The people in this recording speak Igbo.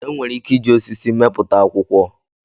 Enwere ike iji osisi mepụta akwụkwọ